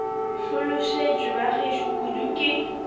hlolosetšwe ba gešo kudu ke